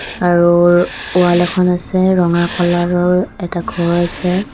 আৰু ৱাল এখন আছে ৰঙা কালাৰৰ এটা ঘৰ আছে।